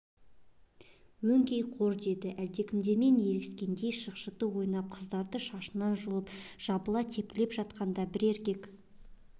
өңкей қор деді әлдекімдермен ерегескендей шықшыты ойнап қыздарды шашынан жұлып жабыла тепкілеп жатқанда бір еркек